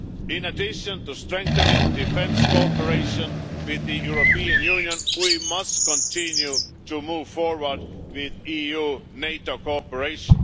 In addition to strengthening defence cooperation with the European Union, we must continue to move forward with EU NATO cooperation.